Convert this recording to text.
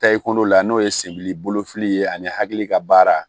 Taa i kɔnɔ la n'o ye senbili bolofili ye ani hakili ka baara